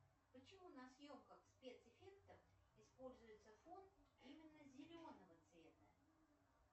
почему на съемках спецэффектов используется фон именно зеленого цвета